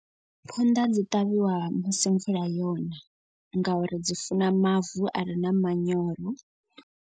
Phonḓa dzi ṱavhiwa musi mvula yona. Ngauri dzi funa mavu a re na manyoro.